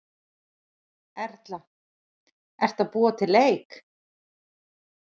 Erla: Ertu að búa til leik?